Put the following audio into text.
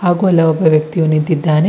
ಹಾಗೂ ಅಲ್ಲೆ ಒಬ್ಬ ವ್ಯಕ್ತಿಯು ನಿಂತಿದ್ದಾನೆ.